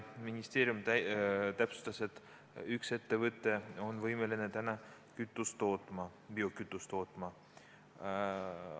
Ministeerium täpsustas, et Eestis on täna üks ettevõte võimeline biokütust ise tootma.